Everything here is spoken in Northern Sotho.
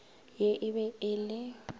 ye e be e le